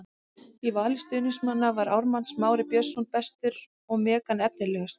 Í vali stuðningsmanna var Ármann Smári Björnsson bestur og Megan efnilegust.